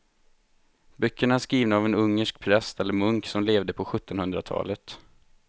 Böckerna är skrivna av en ungersk präst eller munk som levde på sjuttonhundratalet.